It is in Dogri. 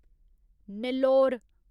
नेल्लोर